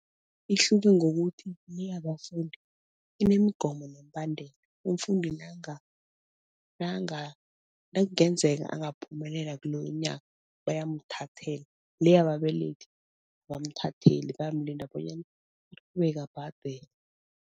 Ihluke ngokuthi le yabafundi inemigomo nemibandula. Umfundi nakungenzeka angaphumelela kuloyo nyaka, bayamuthathela le yababelethi abamuthatheli bayamlinda bonyana aqhubeke abhadele.